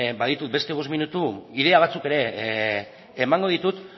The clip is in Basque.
baditut beste bost minutu ideia batzuk ere emango ditut